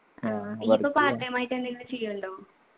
ആ ഇഞ്ഞിപ്പൊ part time ആയിട്ടെന്തെങ്കിലും ചെയ്യുന്നുണ്ടോ